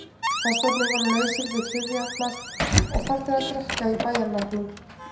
Hestarnir voru lausir við klyfjarnar og farnir að drekka í bæjarlæknum.